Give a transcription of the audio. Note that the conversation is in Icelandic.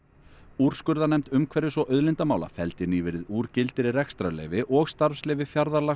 úrskurðarnefnd umhverfis og auðlindamála felldi nýverið úr gildi rekstrarleyfi og starfsleyfi